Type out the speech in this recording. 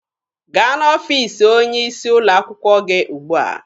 Gaa n'ọfiisi onye isi ụlọ akwụkwọ gị ugbua!